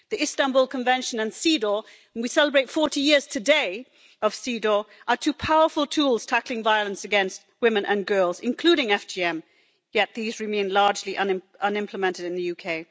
The Istanbul Convention and CEDAW and we celebrate 40 years today of CEDAW are two powerful tools tackling violence against women and girls, including FGM, yet these remain largely unimplemented in the UK.